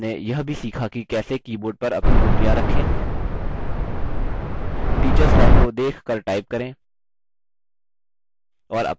इस tutorial में हमने केटच interface के बारे में सीखा हमने यह भी सीखा कि कैसे: board पर अपनी उँगलियाँ रखें